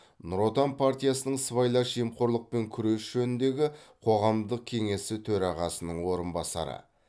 нұр отан партиясының сыбайлас жемқорлықпен күрес жөніндегі қоғамдық кеңесі төрағасының орынбасары